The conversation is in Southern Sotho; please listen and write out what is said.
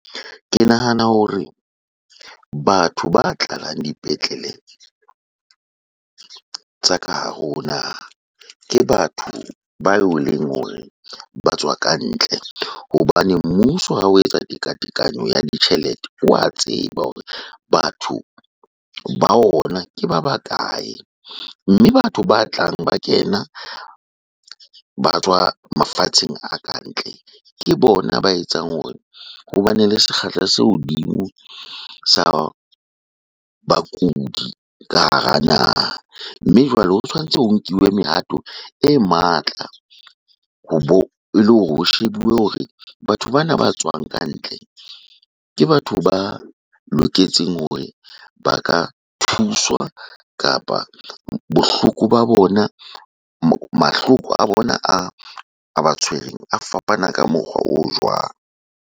Ke nahana hore batho ba tlalang dipetlele tsa ka hare ho naha, ke batho bao eleng hore ba tswa ka ntle. Hobane mmuso ha o etsa tekatekano ya ditjhelete, wa tseba hore batho ba ona ke ba bakae. Mme batho ba tlang ba kena ba tswa mafatsheng a kantle, ke bona ba etsang hore ho bane le sekgahla se hodimo sa bakudi ka hara naha. Mme jwale ho tshwantse ho nkiwe mehato e matla ho ele hore ho shebuwe hore batho bana ba tswang kantle, ke batho ba loketseng hore ba ka thuswa kapa bohloko ba bona, mahloko a bona a ba tshwereng a fapana ka mokgwa o jwang.